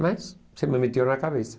Mas, isso me meteu na cabeça.